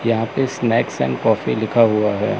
यहां पे snacks and coffee लिखा हुआ है।